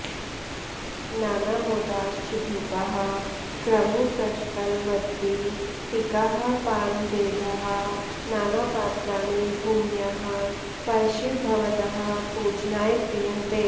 नानामोदाश्च धूपाः क्रमुकशकलवद्वीटिकाः पानभेदाः नानापात्राणि भूम्याः परशिव भवतः पूजनाय क्रियन्ते